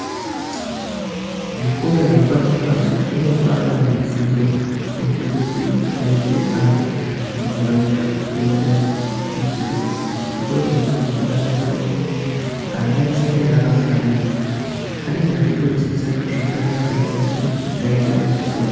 Zvikora zvepasi pasi zvinopa ana zvidzidzo zvinoita kuti aite anhu mundaraunda asaita musikanzwa, zvikoro zvepashi zvakanakira pakuti ana eshee anenge akafanana anenge achitodzidza zvakanaka zvinoita kuti aite antu kwawo.